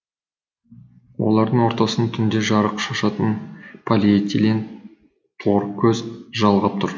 олардың ортасын түнде жарық шашатын полиэтилен торкөз жалғап тұр